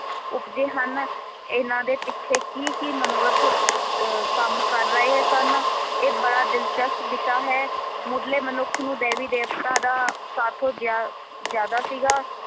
ਉਪਜੇ ਹਨ ਇਹਨਾਂ ਦੇ ਪਿੱਛੇ ਕੀ ਕੀ ਮਨੋਰਥ ਅਹ ਕੰਮ ਕਰ ਰਹੇ ਸਨ ਇਹ ਬੜਾ ਦਿਲਚਸਪ ਵਿਸ਼ਾ ਹੈ ਮੁੱਢਲੇ ਮਨੁੱਖ ਨੂੰ ਦੈਵੀ ਦੇਵਤਾਂ ਦਾ ਸਾਥੋਂ ਜ਼ਿਆ ਜ਼ਿਆਦਾ ਸੀਗਾ।